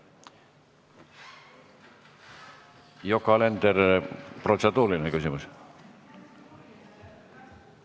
Yoko Alender, kas protseduuriline küsimus?